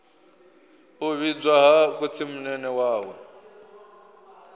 u vhidzwa ha khotsimunene wawe